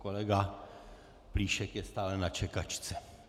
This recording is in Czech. Kolega Plíšek je stále na čekačce.